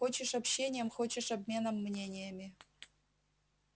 хочешь общением хочешь обменом мнениями